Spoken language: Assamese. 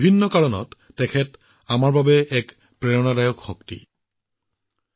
বহু কাৰণত সমগ্ৰ দেশৰ মানুহৰ বাবে প্ৰেৰণাদায়ক শক্তি হিচাপে পৰিগণিত হৈছে